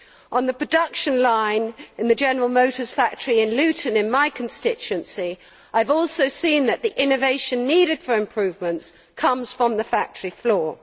On the production line in the General Motors factory in Luton, in my constituency, I have also seen that the innovation needed for improvements comes from the factory floor.